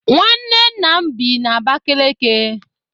Nwanne nna m bi n'Abakeleke.